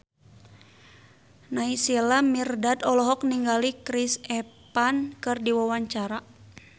Naysila Mirdad olohok ningali Chris Evans keur diwawancara